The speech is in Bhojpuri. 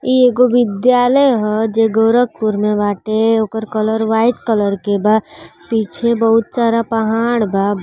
ई एगो विद्यालय ह जे गोरखपुर में वाटे उकर कलर वाइट कलर के बा पीछे बहुत सारा पहाड़ बा।